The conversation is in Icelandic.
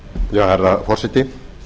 herra forseti